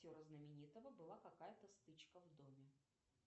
актера знаменитого была какая то стычка в доме